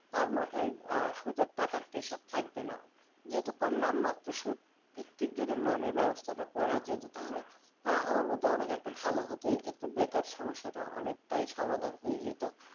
তার মাথায় সুদের টাকার pressure থাকবেনা। যেহেতু কম নামমাত্র সুদভিত্তিক যদি loan নের ব্যবস্থাটা করা যেতো। তাহলে আমার মতে অনেকে একটা ভালো হতো। এক্ষেত্রে বেকার সমস্যাটা অনেক সমাধান হয়ে যেতো।